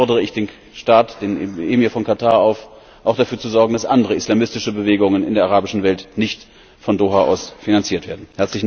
Aber dann fordere ich den Staat, den Emir von Katar auf, auch dafür zu sorgen, dass andere islamistische Bewegungen in der arabischen Welt nicht von Doha aus finanziert werden.